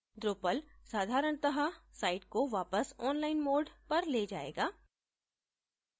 drupal साधारणत: site को वापस online mode पर ले जायेगा